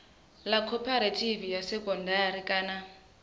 ḽa khophorethivi ya sekondari kana